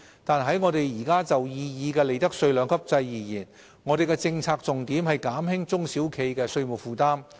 但是，我們現時就擬議的利得稅兩級制而言，我們的政策重點是減輕中小企的稅務負擔。